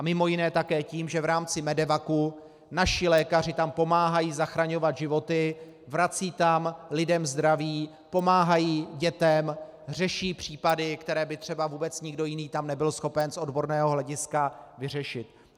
A mimo jiné také tím, že v rámci MEDEVAC naši lékaři tam pomáhají zachraňovat životy, vracejí tam lidem zdraví, pomáhají dětem, řeší případy, které by třeba vůbec nikdo jiný tam nebyl schopen z odborného hlediska vyřešit.